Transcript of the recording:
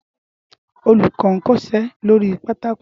Õlúkõ n kõsé lórí pátákó